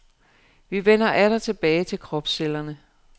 Vi vender atter tilbage til kropscellerne.